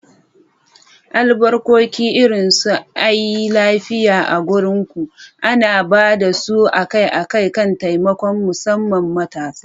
Albarkoki irin su "Ai lafiya a gare ku" ana ba da su akai-akai kan taimako, musamman matasa.